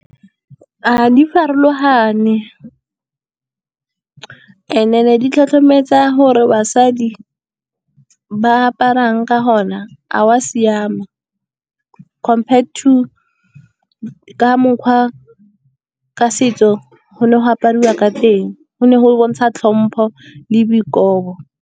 Di farologane and then di tlhotlholetsa gore basadi ba aparang ka gona ga wa siama. Compared to ka mokgwa, ka setso go ne go apariwa ka teng, go ne go bontsha tlhompho le bo boikobo.